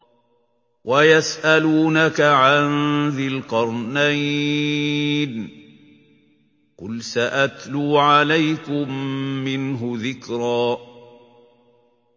وَيَسْأَلُونَكَ عَن ذِي الْقَرْنَيْنِ ۖ قُلْ سَأَتْلُو عَلَيْكُم مِّنْهُ ذِكْرًا